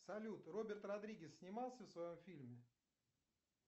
салют роберт родригес снимался в своем фильме